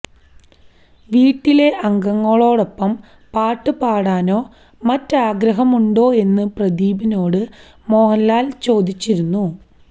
വീട്ടിലെ അംഗങ്ങളോടൊപ്പം പാട്ട് പാടനോ മറ്റോ ആഗ്രഹമുണ്ടോ എന്ന് പ്രദീപിനോട് മോഹൻലാൽ ചോദിച്ചിരുന്നു